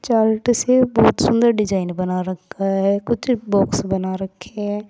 बहुत सुंदर डिजाइन बना रखा है कुछ बॉक्स बना रखे हैं।